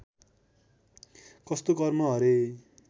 कस्तो कर्म हरे